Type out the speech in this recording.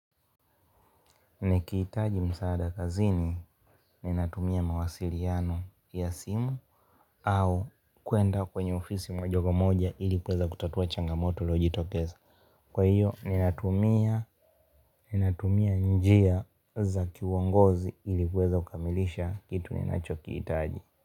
Nikihitaji msaada kazini ninatumia mawasiliano ya simu au kuenda kwenye ofisi moja kwa moja ili kuweza kutatuwa changamoto iliojitokeza. Kwa hiyo ninatumia njia za kiuongozi ili kuweza kukamilisha kitu ninacho kihitaji.